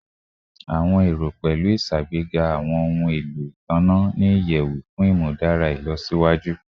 Awọn ero pẹlu iṣagbega awọn ohun elo itanna ni iyẹwu fun imudara ilọsiwaju